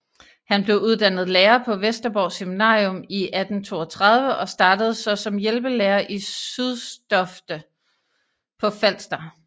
Han blev uddannet lærer på Vesterborg Seminarium i 1832 og startede så som hjælpelærer i Systofte på Falster